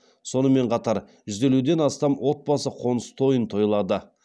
сонымен қатар жүз елуден астам отбасы қоныс тойын тойлады